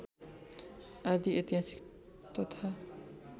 आदि ऐतिहासिक तथा